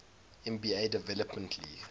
nba development league